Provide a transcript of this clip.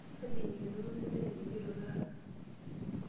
Kaji eikununo osesen ining'ito taata?